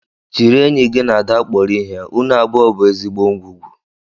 Jiri enyi gị na Ada kpọrọ ihe. Unu abụọ bụ ezigbo ngwugwu